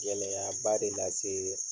Gɛlɛyaba de lase